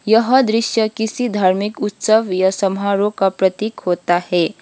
यह दृश्य किसी धार्मिक उत्सव या समारोह का प्रतीक होता है।